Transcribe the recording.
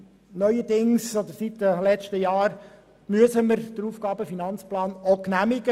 Seit einiger Zeit müssen wir auch den AFP genehmigen.